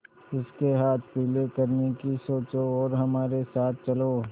उसके हाथ पीले करने की सोचो और हमारे साथ चलो